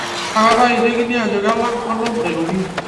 kaakata eitekini ajo kelang' onom aitoki